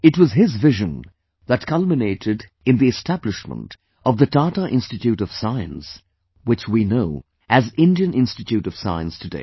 It was his vision that culminated in the establishment of the Tata Institute of Science, which we know as Indian Institute of Science today